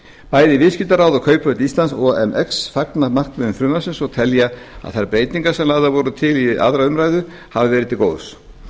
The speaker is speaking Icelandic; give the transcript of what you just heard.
bæði viðskiptaráð og kauphöll íslands omx fagna markmiðum frumvarpsins og telja að þær breytingar sem lagðar voru til við aðra umræðu hafi verið til góðs